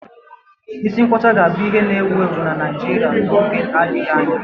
Isi nkwọcha ga-abụ ihe na-ewu ewu na Naịjirịa n'oge adịghị anya